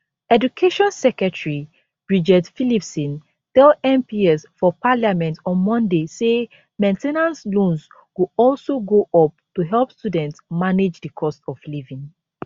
education secretary bridget phillipson tell mps for parliament on monday say main ten ance loans go also go up to help students manage di cost of living